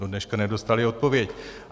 Do dneška nedostali odpověď.